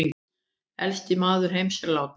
Elsti maður heims látinn